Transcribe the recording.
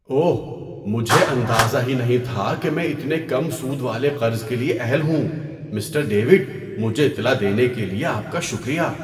اوہ! مجھے اندازہ ہی نہیں تھا کہ میں اتنے کم سود والے قرض کے لیے اہل ہوں۔ Mister David! مجھے اطلاع دینے کے لیے آپ کا شکریہ۔